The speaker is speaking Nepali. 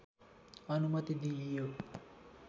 अनुमति दिइयो